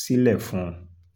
sílẹ̀ fún un